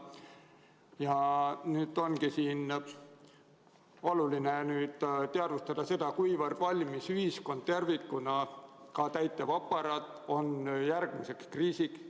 Ja nüüd ongi oluline teadvustada seda, kuivõrd valmis on ühiskond tervikuna – ka täitevaparaat – järgmiseks kriisiks.